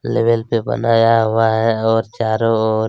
level पे बनाया हुआ है और चारो ओर --